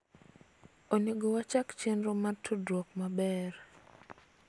onego wachak chenro mar tudruok maber